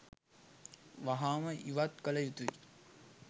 වහාම ඉවත් කළ යුතුයි.